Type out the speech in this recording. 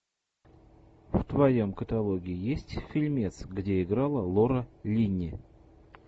в твоем каталоге есть фильмец где играла лора линни